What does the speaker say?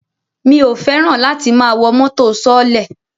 Mi ò fẹ́ràn láti máa wọ mọ́tò sọọ́lẹ̀